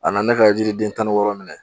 A na ne ka yiriden tan ni wɔɔrɔ minɛ